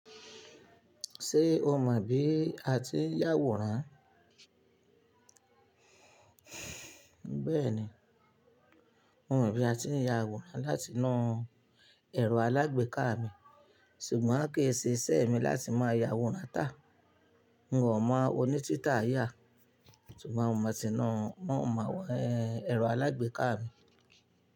Ṣé o mọ̀ bí a ti ń yàwòrán? Bẹ́ẹ̀ni, mo mọ bí a ti ń ya àwòrán láti nu ẹro alágbèéká mi, ṣùgbọ́n kì í ṣe iṣẹ́ mi láti máa ya àwòrán tá. N ò mọ̀ onítítà yà, ṣùgbọ́n mo má ti nu wọn mọ àwọn ẹrù alágbèéká mi.